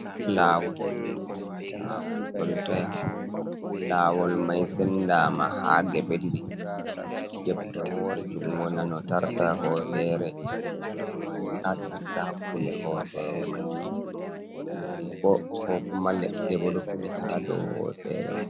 Lawol koltaya, lawol mai sendama ha geɓe ɗiɗi, jebre wore jungo nanu tarta hosere, jebre wore bo ha nasta hakkunde hosere mai, geene bo ko kuma leɗɗe bo ɗo fudi ha dow hosere mai.